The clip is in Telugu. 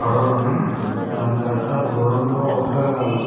పడవలున్నాయి దాని తర్వాత దూరంలో ఒక --